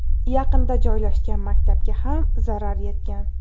Yaqinda joylashgan maktabga ham zarar yetgan.